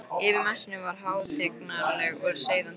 Yfir messunni var hátignarleg og seiðandi ró.